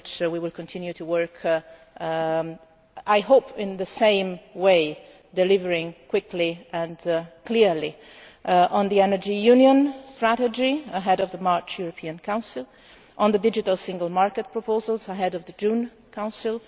I hope we will continue to work on them in the same way, delivering quickly and clearly on the energy union strategy ahead of the March European Council and on the digital single market proposals ahead of the June Council.